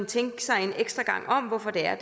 tænke sig en ekstra gang om hvorfor det er